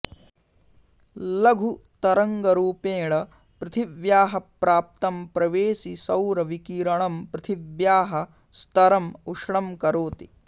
लघुतरङ्गरूपेण पृथिव्याः प्राप्तं प्रवेशिसौरविकिरणं पृथिव्याः स्तरम् उष्णं करोति